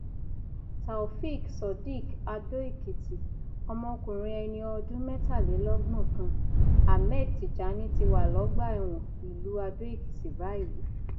taofeek surdiq adóèkìtì ọmọkùnrin ẹni ọdún mẹtàlélọgbọn kan ahmed tijani ti wà lọgbà ẹwọn ìlú adóekìtì báyìí